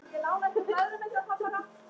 Það spjall bíður betri tíma.